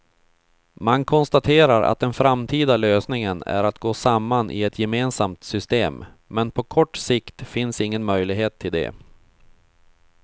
Man konstaterar att den framtida lösningen är att gå samman i ett gemensamt system, men på kort sikt finns ingen möjlighet till det.